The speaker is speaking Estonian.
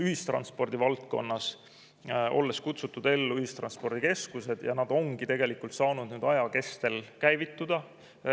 Ühistranspordi valdkonnas on ellu kutsutud ühistranspordikeskused, need ongi saanud nüüd aja kestel käivituda.